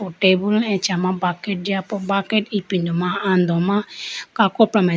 tabool achama bucket jiya po bucket ipindo ma ando ma kakopra ma.